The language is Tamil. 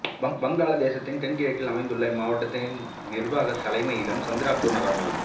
வங்காளதேசத்தின் தென்கிழக்கில் அமைந்த இம்மாவட்டத்தின் நிர்வாகத் தலைமையிடம் சந்திரபூர் நகரம் ஆகும்